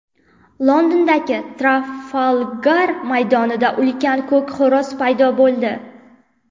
Londondagi Trafalgar maydonida ulkan ko‘k xo‘roz paydo bo‘ldi.